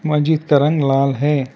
मस्जिद का रंग लाल है।